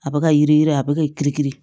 A bɛ ka yiri a bɛ ka kiri kiri